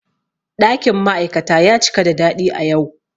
Ɗakin ma'aikata ya cika da daɗi a yau.